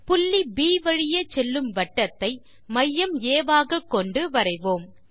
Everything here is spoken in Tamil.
புள்ளி ப் வழியே செல்லும் வட்டத்தை மையம் ஆ ஆகக் கொண்டு வரைவோம்